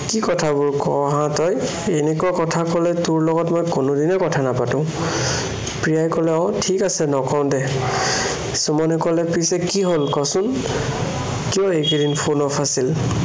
কি কথাবোৰ কৱ হা তই, এনেকুৱা কথা কলে তোৰ লগত মই কোনোদিনেই কথা নাপাতো, প্ৰিয়াই কলে, অ ঠিক আছে নকও দে। সুমনে কলে পিছে কি হ'ল ক চোন? কিয় এইকেইদিন phone off আছিল।